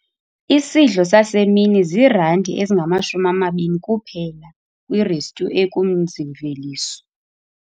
Isidlo sasemini ziirandi ezingamashumi amabini kuphela kwirestyu ekumzi-mveliso.